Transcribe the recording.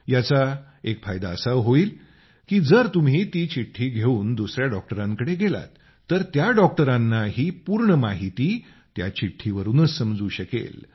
याचा एक फायदा असा होईल की जर तुम्ही ती चिठ्ठी घेवून दुसया डॉक्टरांकडे गेलात तर त्या डॉक्टरांनाही पूर्ण माहिती त्या चिठ्ठीवरूनच समजू शकेल